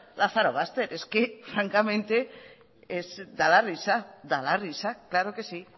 lazarobaster es que francamente da la risa da la risa claro que sí